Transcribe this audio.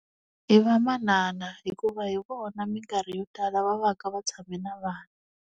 I vamanana hikuva hi vona minkarhi yo tala va va ka va tshame na vana.